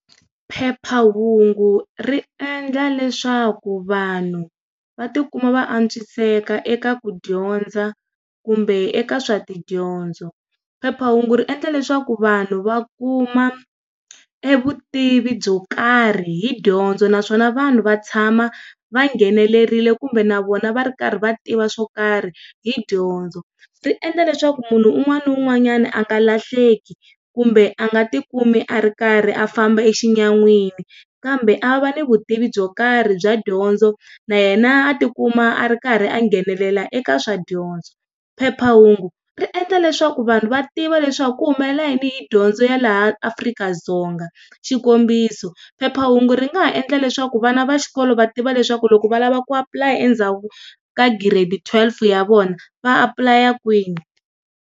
Phephahungu ri endla leswaku vanhu va tikuma va antswiseka eka ku dyondza kumbe eka swa tidyondzo. Phephahungu ri endla leswaku vanhu va kuma e vutivi byo karhi hi dyondzo naswona vanhu va tshama va nghenelerile kumbe na vona va ri karhi va tiva swo karhi hi dyondzo, ri endla leswaku munhu un'wana na un'wanyana a nga lahleki kumbe a nga tikumi a ri karhi a famba exinyamini kambe a va ni vutivi byo karhi bya dyondzo na yena a tikuma a ri karhi a nghenelela eka swa dyondzo. Phephahungu ri endla leswaku vanhu va tiva leswaku ku humelela yini hi dyondzo ya laha Afrika-Dzonga, xikombiso, phephahungu ri nga ha endla leswaku vana va xikolo va tiva leswaku loko va lava ku apply-a endzhaku ka grade twelve ya vona va apply-a kwini.